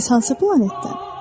Bəs hansı planetdən?